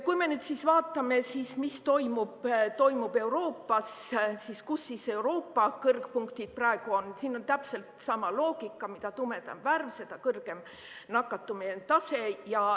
Kui me nüüd vaatame, mis toimub Euroopas, kus Euroopa kõrgpunktid praegu on, siis siin on täpselt sama loogika: mida tumedam värv, seda kõrgem nakatumise tase.